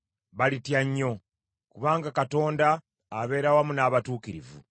Balitya nnyo! Kubanga Katonda abeera wamu n’abatuukirivu.